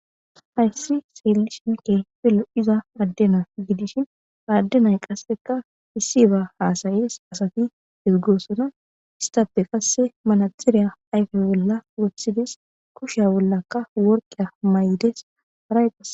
Hayssi seellishinke pelo iza addena gidishin aaddenay qasseka issi ba haasayees asati heggoosona istappe qasse manatxiriya ayfe bolla wothides kushya bollakka worqeya may7des arayqa.